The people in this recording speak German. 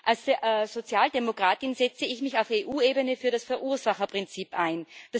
Als Sozialdemokratin setze ich mich auf EU Ebene für das Verursacherprinzip ein.